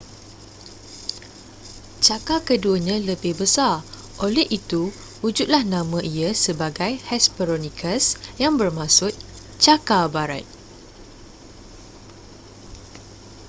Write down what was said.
cakar keduanya lebih besar oleh itu wujudlah nama ia sebagai hesperonychus yang bermaksud cakar barat